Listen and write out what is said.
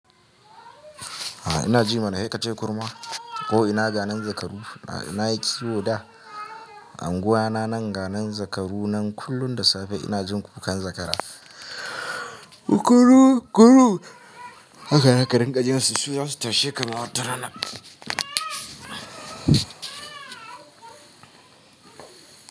Ina ji mana haka ce kurma ko ina ganin zakaru na yi kiwo da anguwa na nan ganin zakaru nan kullum da safe ina jin kukan zakara. Kuru kuru haka ne karen kajin su su zasu tashi kamar tarana.